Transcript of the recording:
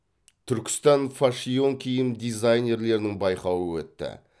түркистан фашиьон киім дизайнерлерінің байқауы өтті